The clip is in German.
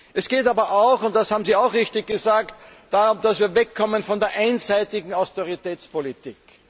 Es geht aber auch und das haben Sie auch richtig gesagt darum, dass wir wegkommen von der einseitigen Austeritätspolitik.